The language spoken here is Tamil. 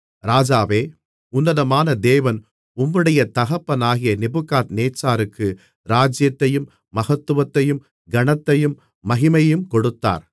ராஜாவே உன்னதமான தேவன் உம்முடைய தகப்பனாகிய நேபுகாத்நேச்சாருக்கு ராஜ்ஜியத்தையும் மகத்துவத்தையும் கனத்தையும் மகிமையையும் கொடுத்தார்